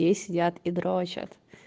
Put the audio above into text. и сидят и дрочат